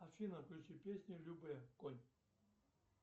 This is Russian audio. афина включи песню любэ конь